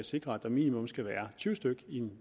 sikrer at der minimum skal være tyve styk i en